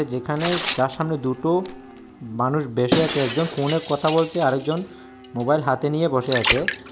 যেখানে যার সামনে দুটো মানুষ বেসে আছে একজন ফোনে কথা বলছে আরেকজন মোবাইল হাতে নিয়ে বসে আছে।